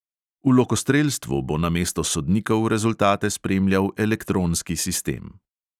V lokostrelstvu bo namesto sodnikov rezultate spremljal elektronski sistem.